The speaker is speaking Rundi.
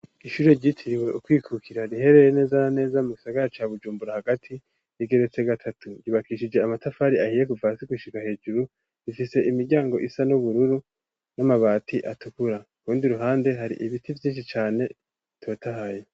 Ishure ryitiriwe ukwikukira riherereye neza na neza mu gisagara ca bujumbura, hagati yigeretse gatatu ryubakishije amatafari ahiye guva hasi gushika hejuru, rifise imiryango isa n'ubururu n'amabati atukura kurundi ruhande hari ibiti vyinshi cane bitotahaye.